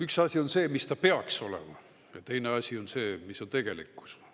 Üks asi on see, mis ta peaks olema, aga teine asi on see, mis on tegelikkus.